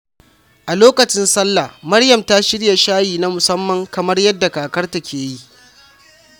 A lokacin Sallah, Maryam ta shirya shayi na musamman kamar yadda kakarta ke yi.